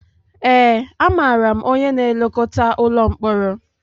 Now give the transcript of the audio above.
Ee, amaara m onye na-elekọta ụlọ mkpọrọ